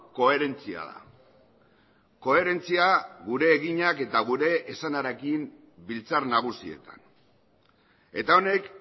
koherentzia da koherentzia gure eginak eta gure esanarekin biltzar nagusietan eta honek